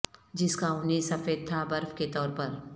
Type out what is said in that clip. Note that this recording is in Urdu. جس کا اونی سفید تھا برف کے طور پر